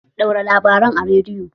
Ɗaura labarin a rediyo!